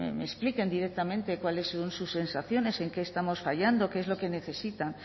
me expliquen directamente cuáles son sus sensaciones en qué estamos fallando qué es lo que necesitan